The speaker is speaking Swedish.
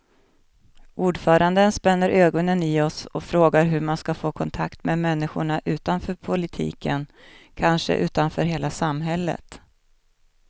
Ordföranden spänner ögonen i oss och frågar hur man ska få kontakt med människorna utanför politiken, kanske utanför hela samhället.